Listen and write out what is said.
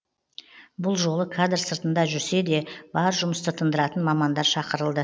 бұл жолы кадр сыртында жүрсе де бар жұмысты тындыратын мамандар шақырылды